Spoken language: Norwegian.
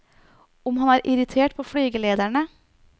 Om han er irritert på flygelederne?